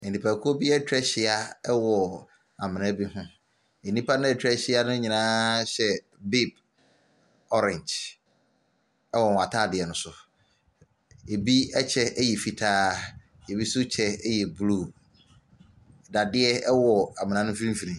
Nnipakuo bi atwa ahyia ɛwɔ amena bi ho. Nnipa no a atwa ahyia no nyinaa hyɛ bib ɔrengye ɛwɔ wɔn ataadeɛ no so. Ebi ɛkyɛ ɛyɛ fitaa ebi nso kyɛ ɛyɛ bluu. Dadeɛ ɛwɔ amena no mfimfini.